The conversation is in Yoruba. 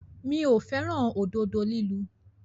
Mi ò fẹ́ràn òdodo lílu.